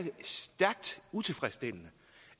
stærkt utilfredsstillende